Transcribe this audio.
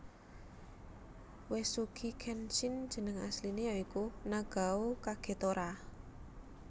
Uesugi Kenshin jeneng asliné ya iku Nagao Kagetora